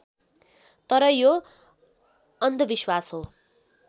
तर यो अन्धविश्वास हो